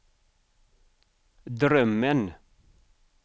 drömmen